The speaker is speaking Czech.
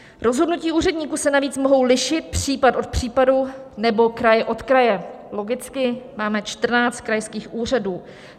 Rozhodnutí úředníků se navíc mohou lišit případ od případu nebo kraj od kraje - logicky, máme 14 krajských úřadů.